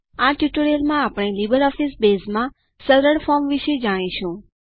આ ટ્યુટોરીયલમાં આપણે લીબરઓફીસ બેઝમાં સરળ ફોર્મ વિષે જાણીશું